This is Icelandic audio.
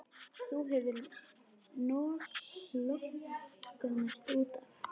Þú hefur lognast út af!